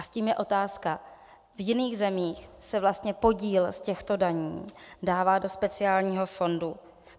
A s tím je otázka - v jiných zemích se vlastně podíl z těchto daní dává do speciálního fondu.